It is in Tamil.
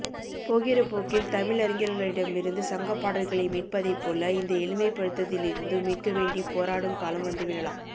போகிறபோக்கில் தமிழறிஞர்களிடமிருந்து சங்கப்பாடல்களை மீட்பதைப்போல இந்த எளிமைப்படுத்தலில் இருந்தும் மீட்கவேண்டிப் போராடும் காலம் வந்துவிடலாம்